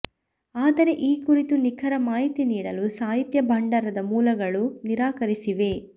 ಆದರೆ ಈ ಕುರಿತ ನಿಖರ ಮಾಹಿತಿ ನೀಡಲು ಸಾಹಿತ್ಯ ಭಂಡಾರದ ಮೂಲಗಳು ನಿರಾಕರಿಸಿವೆ